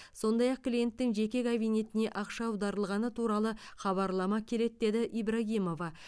сондай ақ клиенттің жеке кабинетіне ақша аударылғаны туралы хабарлама келеді деді ибрагимова